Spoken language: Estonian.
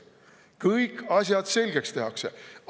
Kõik asjad selgeks tehtaks!